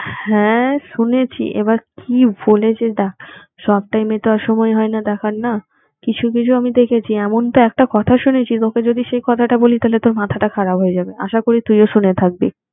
হ্যাঁ শুনেছি এবার কি বলেছে দেখ সব টাইমে তো আর সময় হয় না দেখার না কিছু কিছু আমি দেখেছি এমনটা একটা কথা শুনেছিস ওকে যদি সেই কথাটা বলি তাহলে তোর মাথাটা খারাপ হয়ে যাবে আশা করি তুই ও শুনে থাকবি